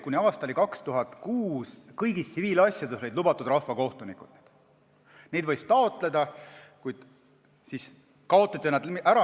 Kuni aastani 2006 olid kõigis tsiviilasjades rahvakohtunikud lubatud, neid võis taotleda, kuid siis kaotati see ära.